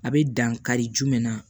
A bɛ dan kari jumɛn na